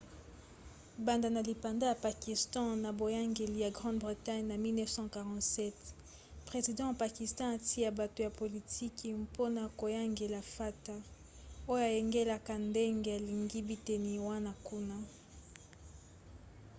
banda na lipanda ya pakistan na boyangeli ya grande bretagne na 1947 president ya pakistan atia bato ya politiki mpona koyangela fata oyo ayangelaka ndenge alingi biteni wana kuna